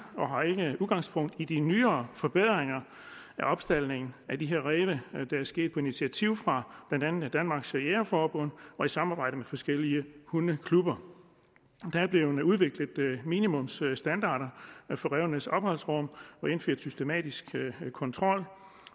og har ikke udgangspunkt i de nyere forbedringer af opstaldning af de her ræve der er sket på initiativ fra blandt andet danmarks jægerforbund og i samarbejde med forskellige hundeklubber der er blevet udviklet minimumsstandarder for rævenes opholdsrum og indført systematisk kontrol